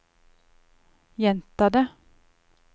gjenta det